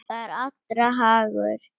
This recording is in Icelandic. Það er allra hagur.